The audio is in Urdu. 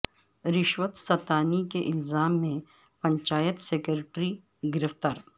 رشوت ستانی کے الزام میں پنچایت سکریٹری گرفتار